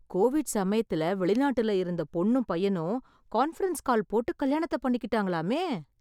Covid சமயத்துல வெளிநாட்டுல இருந்த பொண்ணும் பையனும் கான்ஃபரன்ஸ் கால் போட்டு கல்யாணத்த பண்ணிக்கிட்டாங்களாமே...